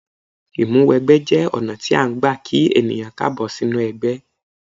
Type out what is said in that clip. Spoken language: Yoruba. Ìmúwẹgbẹ́ jẹ́ ọ̀nà tí a ń gbà kí ènìyàn káàbọ̀ sínú ẹgbẹ́.